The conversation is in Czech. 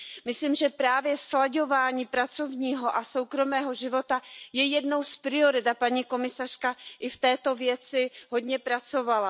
Myslím si, že právě slaďování pracovního a soukromého života je jednou z priorit, a paní komisařka i v této věci hodně pracovala.